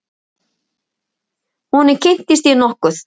Honum kynntist ég nokkuð.